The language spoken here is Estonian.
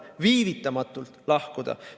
Viivitamatult lahkuda.